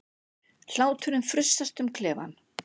Hláturinn frussast um klefann.